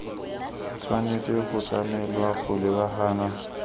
tshwanetse go tlamelwa go lebagana